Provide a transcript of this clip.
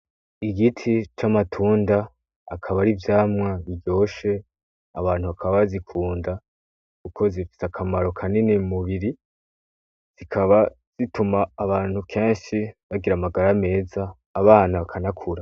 Igiti c'amatunda akaba ari ivyamwa biryoshe abantu hakaba zikunda uko zifise akamaro kanini mumubiri zikaba zituma abantu kenshi bagira amagara ameza abana bakanakura.